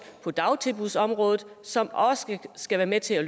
på dagtilbudsområdet som også skal være med til at